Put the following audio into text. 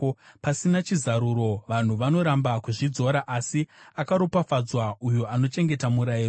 Pasina chizaruro, vanhu vanoramba kuzvidzora; asi akaropafadzwa uyo anochengeta murayiro.